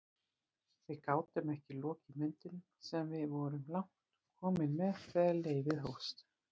Við gátum ekki lokið myndunum sem við vorum langt komin með þegar leyfið hófst.